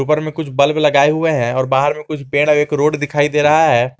उपर में कुछ बल्ब लगाए हुए हैं और बाहर में कुछ पेड़ और एक रोड दिखाई दे रहा है।